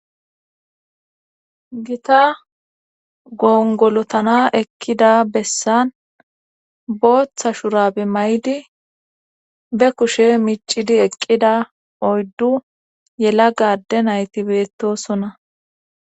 Gita gongolotana eqkida bessan booththa shurabe may'di be kushe micidi eqqida oyddu yela gadde nayti beettosona